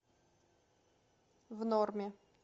в норме